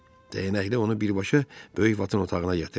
Dəyənəkli onu birbaşa böyük Vatın otağına gətirdi.